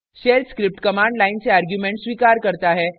* shell script command line से arguments स्वीकार करता है